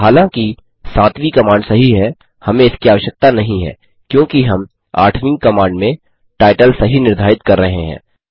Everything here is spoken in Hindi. हालाँकि सातवीं कमांड सही है हमें इसकी आवश्यकता नहीं है क्योंकि हम आठवीं कमांड में टाइटल सही निर्धारित कर रहे हैं